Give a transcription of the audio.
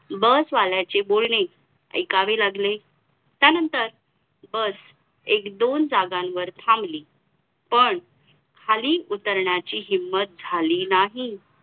जेव्हा भारत स्वतंत्र झाला तेव्हा आ आचार्य कृपनलांनी हे भारतीय राष्ट्रीय काँग्रेस चे अध्यक्ष होते.